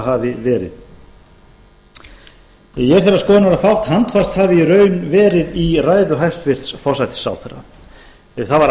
hafi verið ég er þeirrar skoðunar að fátt handbært hafi í raun verið í ræðu hæstvirts forsætisráðherra því það var